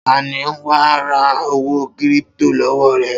Ta ni wà á ra owó kírípító lọ́wọ́ rẹ̀?